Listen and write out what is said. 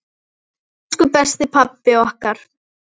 Elsku besti pabbi okkar.